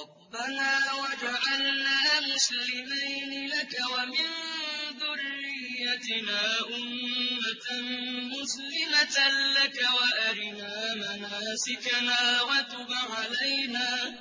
رَبَّنَا وَاجْعَلْنَا مُسْلِمَيْنِ لَكَ وَمِن ذُرِّيَّتِنَا أُمَّةً مُّسْلِمَةً لَّكَ وَأَرِنَا مَنَاسِكَنَا وَتُبْ عَلَيْنَا ۖ